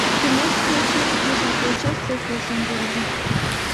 ты можешь включить десятая часть секс в большом городе